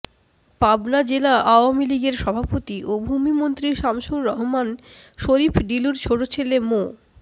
পাবনা জেলা আওয়ামী লীগের সভাপতি ও ভূমিমন্ত্রী শামসুর রহমান শরীফ ডিলুর ছোট ছেলে মো